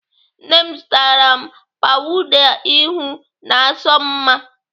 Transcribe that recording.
Nne m zụtara m pawuda ihu na-asọ m mma.